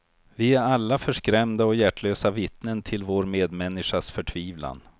Vi är alla förskrämda och hjärtlösa vittnen till vår medmänniskas förtvivlan.